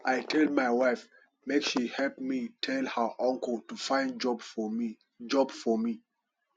i tell my wife make she help me tell her uncle to find job for me job for me